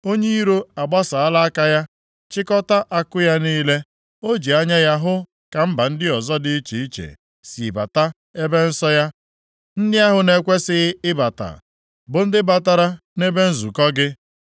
Onye iro agbasaala aka ya chịkọtaa akụ ya niile. O ji anya ya hụ ka mba ndị ọzọ dị iche iche si bata ebe nsọ ya. Ndị ahụ na-ekwesighị ịbata bụ ndị batara nʼebe nzukọ gị.